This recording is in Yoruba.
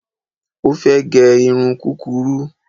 Ó fẹ́ gẹ irun kúrurú